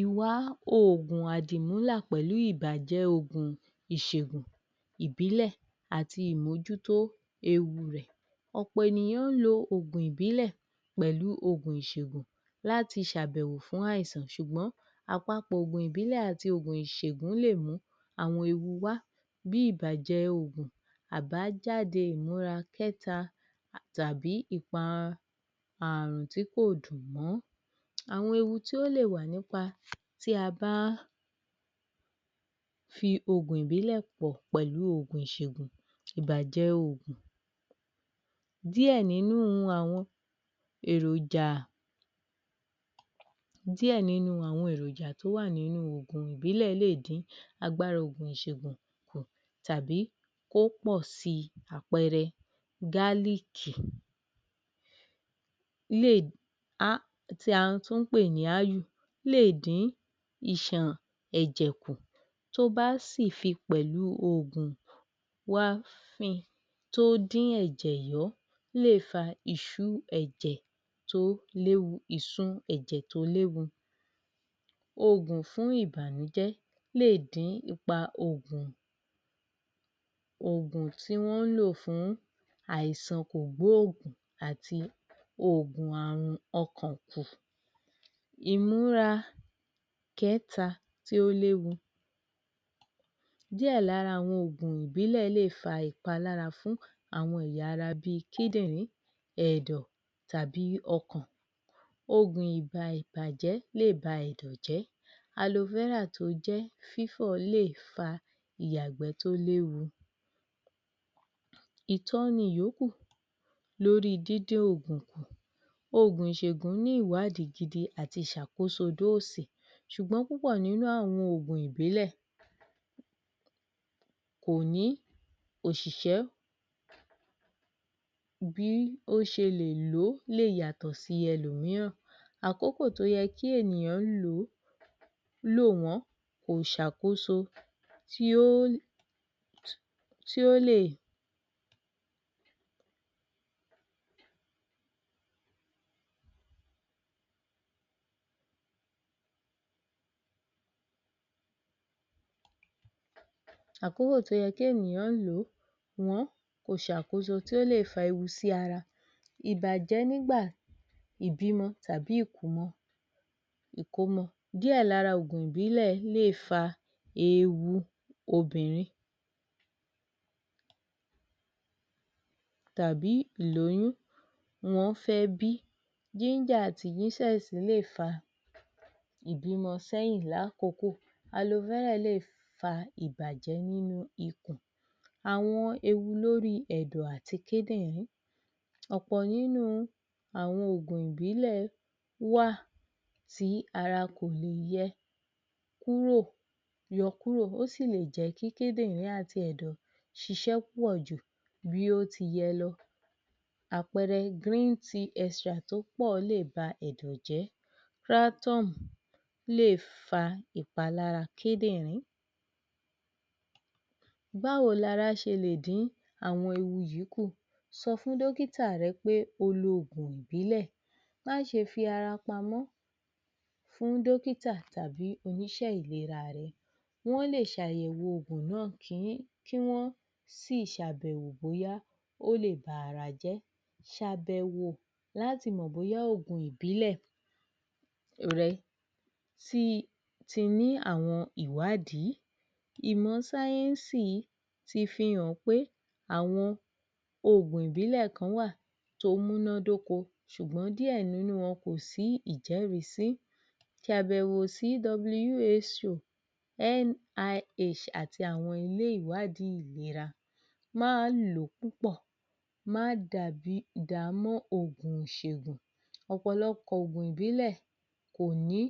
Ìwa oògùn àdìmúlà pẹ̀lú ìbájẹ́ oògùn ìṣègùn ìbílẹ̀ àti ìmójútó ewu rẹ̀. ọ̀pọ̀ ènìyàn ń lo ògùn ìbílẹ̀ pẹ̀lú oògùn ìṣègùn láti ṣàbẹ̀wò fún àìsàn ṣùgbọ́n àpapọ̀ ògùn ìbílẹ̀ àtí ògùn ìṣègùn lè mú àwọn ewu wá bí ìbàjẹ oògùn àbájádé ìmúra kẹ́ta tàbí ìpa àrùn tí kò dùn mọ́ Àwọn ewu tí ó lè wà nípa tí a bá fi ògùn ìbílẹ̀ pọ̀ pẹ̀lú ògùn ìṣègùn ìbàjẹ́ oògùn Díẹ̀ nínú àwọn èròjà Díẹ̀ nínú àwọn èròjà tó wà nínú ògùn ìbílẹ̀ lè dín agbára ògùn ìṣègùn tàbí kó pọ̀ si àpẹẹrẹ gálììkì um tí a tún ń pè ní áù lè dín ìṣàn ẹ̀jẹ̀ kù tó bá sì fi pẹ̀lú oògùn tó dín ẹ̀jẹ̀ yọ́ lè fa ìsun ẹ̀jẹ̀ tó léwu...ìsun ẹ̀jẹ̀ tó léwu Ògùn fún ìbànújẹ́ lè dín ipa ògùn, ògùn tí wọ́n ń lò fún àìsàn kògbóògùn ògùn àrùn ọkàn kù ìmúra kẹta tí ó léwu Díẹ̀ lára àwọn ògùn ìbílẹ̀ lè fa ìpalára fún àwọn ẹ̀yà ara bí kídìrín, ẹ̀dọ̀ tàbí ọkàn Ògùn ìgbà ìbàjẹ́ lè ba ẹ̀dọ̀ jẹ́, tó jẹ́ fífọ́ lè fa ìyàgbẹ́ tó léwu ìtọ́ni ìyóókù lórí díndín ògùn kù Ògùn ìṣègùn ní ìwádìí gidi àti ìṣàkóso dóósì ṣùgbọ́n púpọ̀ nínú àwọn ògùn ìbílẹ̀ kò ní òṣìsẹ́ bí ó ṣe lè lò ó lè yàtọ̀ sí ẹlòmíràn àkókò tí ó yẹ kí ènìyàn lò ó lò wọ́n kò ṣàkóso tí ó lè àkókò tí ó yẹ kí ènìyàn lò ó lò wọ́n kò ṣàkóso tí ó lè fa ewu sí ara ìbàjẹ́ nígbà ìbímọ tàbí ìkómọ ìkómọ díẹ̀ lára ògùn ìbílẹ̀ lè fa ewu obìnrin tàbí ìlóyún wọ́n fẹ́ bí àti lè fa ìbímọ sẹ́yìn lákòókò lè fa ìbàjẹ́ nínú ikùn Àwọn ewu lóri ẹ̀dọ̀ àti kídìnrín ọ̀pọ̀ nínú àwọn ògùn ìbílẹ̀ wà sí ara kò yẹ um yọ kúrò ó sì lè jẹ́ kí kídìnrín àti ẹ̀dọ̀ ṣiṣẹ́ púpọ̀ jù bí ó ti yẹ lọ Àpẹẹrẹ, tó pọ̀ lè ba ẹ̀dọ̀ jẹ́ lè fa ìpalára kídìrín Báwo lara ṣe lè dín àwọn ewu yìí kù? sọ fún dọ́kítà rẹ pé o lo ògùn ìbílẹ̀ Má ṣe fi ara pamọ́ fún dọ́kítà tàbí oníṣẹ́ ìlera ara wọ́n lè ṣàyẹ̀wò ògùn náà kí wọ́n sì ṣàbẹ̀wò bóyá ó lè ba ara jẹ́ ṣàbẹ̀wò láti mọ̀ bóyá ògùn ìbílẹ̀ rẹ um ti ní àwọn ìwádìí ìmọ̀ sáyẹ́nsì fihàn pé àwọn ògùn ìbílẹ̀ kan wà tó múná dóko ṣùgbọ́n díẹ̀ nínú wọn kò sí ìjẹ́rìí sí ṣàbẹ̀wò sí àti àwọn ilé ìwádiìí ìlera máa ń lò ó púpọ̀ má um dàá mọ́ ògùn ìṣègùn ọ̀pọ̀lọpọ̀ ògùn ìbílẹ̀ kò ní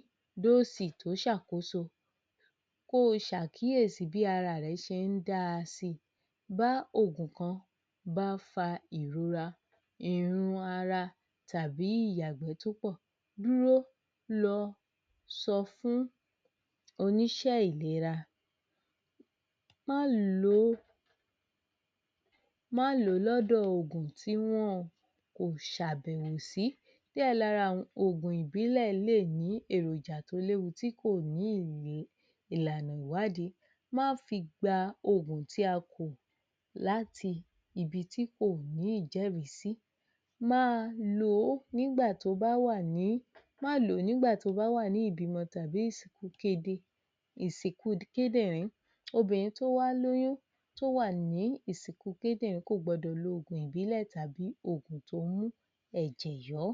dóòsì tó ṣàkóso kó ṣàkíyèsí bí ara rẹ ṣe ń da si bá ògùn kan bá fa ìrora ìhun ara tàbí ìyàgbẹ́ tó pọ̀, dúró lọ sọ fún oníṣẹ́ ìlera má lo má lo ògùn tí wọn kò ṣàbẹ̀wò sí, díẹ̀ lára àwọn ògùn iìbílẹ̀ lè ní èròjà tó léwu tí kò ní ìwé ìlànà ìwádìí má fi gba ògùn tí a kò láti ibi tí kò ní ìjẹ́rìí sí um má lò ó nígba tí o bá wà ní ìbímọ tàbí ìsìnkú kídìnrín, obiìnrin tí ó bá lóyún tó wà ní ìsìnkú kídìnrín kò gbọdọ̀ lo ògùn ìbílẹ̀ tàbí ògùn tó ń mú ẹ̀jẹ̀ yọ́